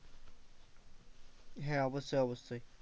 হ্যাঁ অবশ্যই অবশ্যই,